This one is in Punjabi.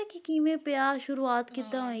ਕੀ ਕਿਵੇਂ ਪਿਆ ਸ਼ੁਰੂਆਤ ਕਿਵੇਂ ਹੋਈ